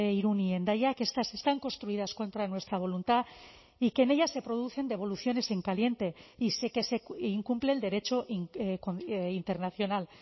irún y hendaia que estas están construidas contra nuestra voluntad y que en ellas se producen devoluciones en caliente y que se incumple el derecho internacional